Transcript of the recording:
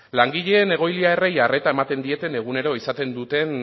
langileek egoiliarrei arreta ematen dieten egunero izaten duten